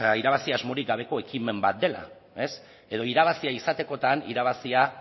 irabazi asmorik gabeko ekimen bat dela edo irabazia izatekotan irabazia